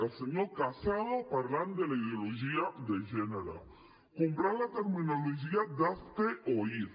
el senyor casado parlant de la ideologia de gènere comprant la terminologia d’hazte oír